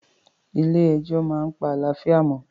Ilé ẹjọ́ máa pa àlàáfíà mi